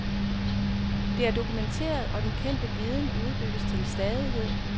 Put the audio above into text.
Det er dokumenteret, og den kendte viden udbygges til stadighed.